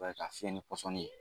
i b'a ye k'a fiyɛ ni pɔsɔnni ye.